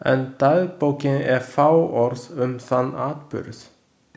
En dagbókin er fáorð um þann atburð.